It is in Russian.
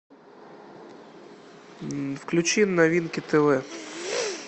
включи новинки тв